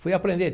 Fui aprender.